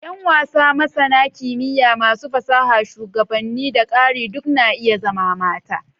Yan wasa, masana kimiyya, masu fasaha, shugabanni, da ƙari duk na iya zama mata.